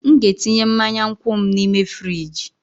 M ga-etinye mmanya nkwụ m n'ime frijị